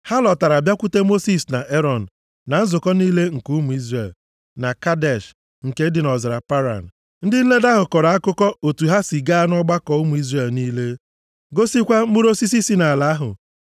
Ha lọtara bịakwute Mosis na Erọn na nzukọ niile nke ụmụ Izrel, na Kadesh nke dị nʼọzara Paran. Ndị nledo ahụ kọrọ akụkọ otu ha si gaa nʼọgbakọ ụmụ Izrel niile. Gosikwa mkpụrụ osisi si nʼala ahụ.